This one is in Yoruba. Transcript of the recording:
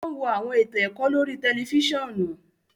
O n wo awọn eto ẹkọ lórí tẹlifisiọnu